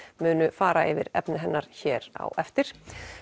munu fara yfir efni hennar hér á eftir